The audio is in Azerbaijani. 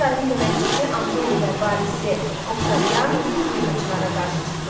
Sezarın köməkçisi Antoni və varisi Oktavian respublikaçılara qarşı çıxdılar.